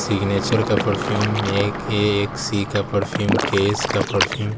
signature का perfume C का perfume K_ S का परफ्यूम --